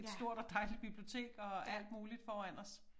Et stort og dejligt bibliotek og alt muligt foran os